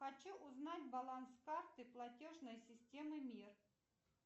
хочу узнать баланс карты платежной системы мир